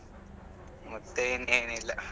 ಮತ್ತೆ ಇನ್ನೇನ್ ಇಲ್ಲ.